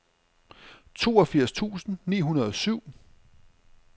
toogfirs tusind ni hundrede og syv